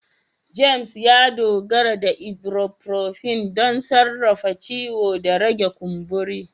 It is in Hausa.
James, ya dogara da ibuprofen don sarrafa ciwo da rage kumburi